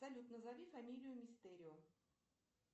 салют назови фамилию мистерио